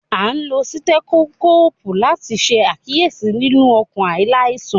A n lo sitrẹtoskopu lati ṣe akiyesi lilu ọkan alaisan